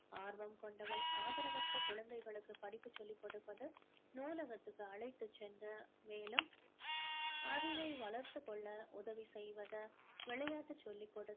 ஆர்வம் கொண்டவள் ஆதரவற்ற குழந்தைகளுக்கு படிப்பு சொல்லிக் கொடுப்பது நூலகத்துக்கு அழைத்து சென்று மேலும் அறிவை வளர்த்துக் கொள்ள உதவி செய்வது விளையாட்டு சொல்லிக்